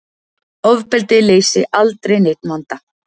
Ofbeldi leysi aldrei neinn vanda